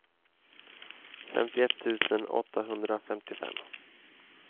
femtioett tusen åttahundrafemtiofem